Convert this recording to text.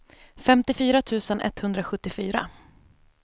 femtiofyra tusen etthundrasjuttiofyra